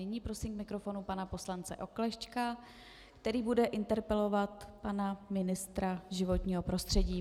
Nyní prosím k mikrofonu pana poslance Oklešťka, který bude interpelovat pana ministra životního prostředí.